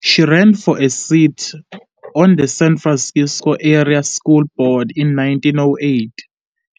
She ran for a seat on the San Francisco area school board in 1908,